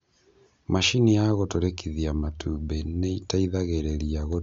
Macini ya gũtũrĩkithia matumbi ni ĩteithagĩrĩria gũturĩkĩa matumbĩ maingĩ nĩguo ĩrute tũcui tũingĩ.